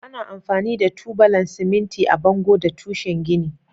Ana amfani da tubalan siminti a bango da tushe gini.